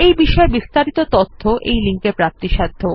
এই বিষয় বিস্তারিত তথ্য এই লিঙ্ক এ প্রাপ্তিসাধ্য